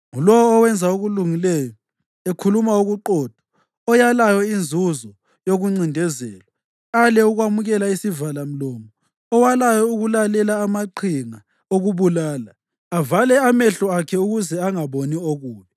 Ngulowo owenza okulungileyo, ekhuluma okuqotho oyalayo inzuzo yokuncindezelwa, ale ukwamukela isivalamlomo, owalayo ukulalela amaqhinga okubulala, avale amehlo akhe ukuze angaboni okubi,